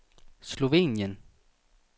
Slovenien